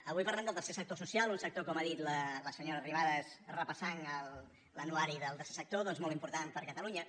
avui parlem del tercer sector social un sector com ha dit la senyora arrimadas repassant l’anuari del tercer sector doncs molt important per a catalunya